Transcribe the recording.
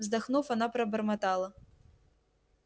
вздохнув она пробормотала